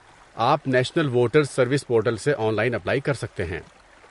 آپ national voters service portal سے online apply کر سکتے ہیں۔